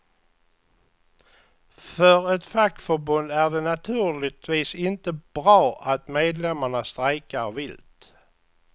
För ett fackförbund är det naturligtvis inte bra att medlemmarna strejkar vilt.